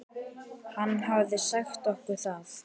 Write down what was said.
Hann hafði sagt okkur það.